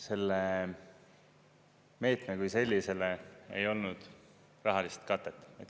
Sellele meetmele kui sellisele ei olnud rahalist katet.